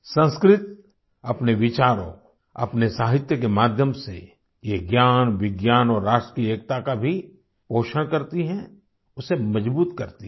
संस्कृत अपने विचारों अपने साहित्य के माध्यम से ये ज्ञान विज्ञान और राष्ट्र की एकता का भी पोषण करती है उसे मजबूत करती है